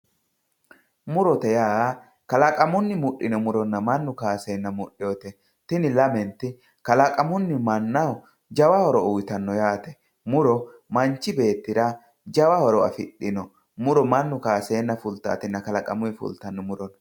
murote yaa kalaqamunni muxxino muronna mannu kaaseena muxioete kuni lamenti kalaqamunni mannaho jawa horo uuyiitanno yaate muro mach beettira jawa horo afixino muro mannu kaaseena fultaatinna kalaqamuyi fultanno muro no.